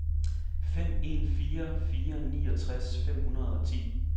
fem en fire fire niogtres fem hundrede og ti